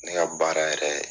Ne ka baara yɛrɛ